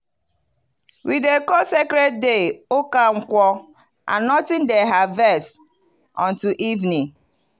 we dey call sacred day 'uka nkwo' and nothing dey harvest until evening.